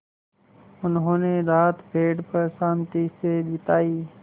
उन्होंने रात पेड़ पर शान्ति से बिताई